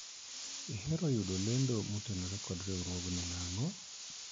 ihero yudo lendo motenore kod riwruogni nang'o?